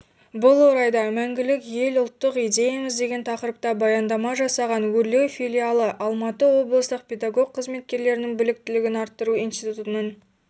бұл орайда мәңгілік елұлттық идеямыз деген тақырыпта баяндама жасаған өрлеуфилиалы алматы облыстық педагог қызметкерлердің біліктілігін арттыру институтының